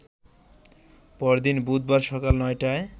পরদিন বুধবার সকাল নয়টায়